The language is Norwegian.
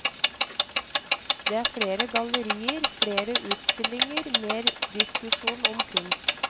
Det er flere gallerier, flere utstillinger, mer diskusjon om kunst.